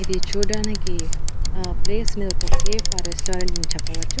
ఇది చూడ్డానికి ఆ ప్లేస్ అనేది ఒక కేఫ్ ఆర్ రెస్టారెంట్ అని చెప్పవచ్చు.